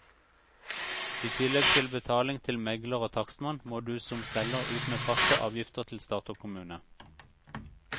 I tillegg til betaling til megler og takstmann, må du som selger ut med faste avgifter til stat og kommune.